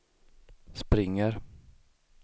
springer